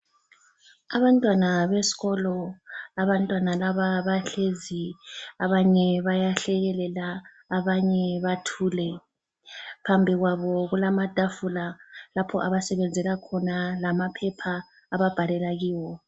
Abantwana besikolo, abantwana laba bahlezi, abanye bayahlekelela abanye bathule. Phambi kwabo kulamatafula lapho abasebenzela khona lamaphepha ababhalela kiwo.